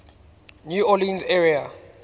new orleans area